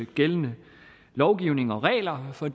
gældende lovgivning og regler for